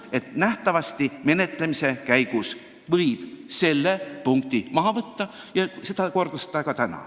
Selle punkti võib menetlemise käigus nähtavasti maha võtta, nagu ta tänagi ütles.